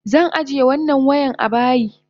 Zan ajiye wannan wayan abayi.